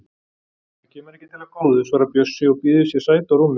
Það kemur ekki til af góðu, svarar Bjössi og býður sér sæti á rúmi